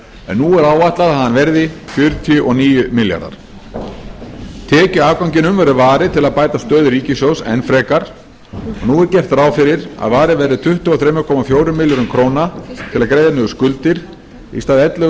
en nú er áætlað að hann verði fjörutíu og níu milljarðar tekjuafganginum verður varið til að bæta stöðu ríkissjóðs enn frekar og nú er gert ráð fyrir að varið verði tuttugu og þrjú komma fjórum milljörðum króna til að greiða niður skuldir í stað ellefu